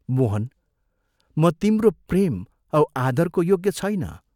मोहन, म तिम्रो प्रेम औ आदरको योग्य छैन।